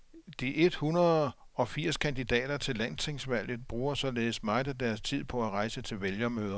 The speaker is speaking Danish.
De et hundrede og firs kandidater til landstingsvalget bruger således meget af deres tid på at rejse til vælgermøder.